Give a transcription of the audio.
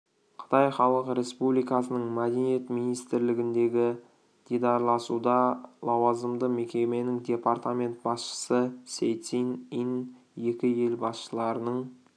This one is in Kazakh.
қытай халық республикасының мәдениет министрлігіндегі дидарласуда лауазымды мекеменің департамент басшысы сей цин ин екі ел басшыларының